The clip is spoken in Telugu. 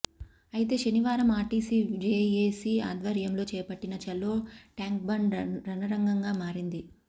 అయితే శనివారం ఆర్టీసీ జేఏసీ ఆధ్వర్యంలో చేపట్టిన ఛలో ట్యాంక్బండ్ రణరంగంగా మారింది